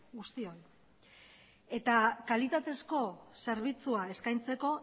guztioi eta kalitatezko zerbitzua eskaintzeko